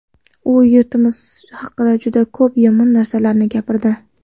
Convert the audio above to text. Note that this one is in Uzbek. U yurtimiz haqida juda ko‘p yomon narsalarni gapirdi.